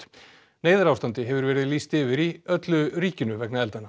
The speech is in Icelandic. neyðarástandi hefur verið lýst yfir í öllu ríkinu vegna eldanna